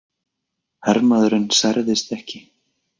Hermaðurinn særðist ekki